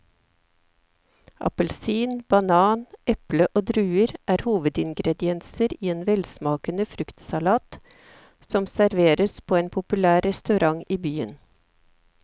Appelsin, banan, eple og druer er hovedingredienser i en velsmakende fruktsalat som serveres på en populær restaurant i byen.